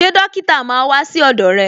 Ṣé dókítà máa wà sí ọdọ rẹ̀